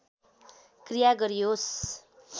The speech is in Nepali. क्रिया गरियोस्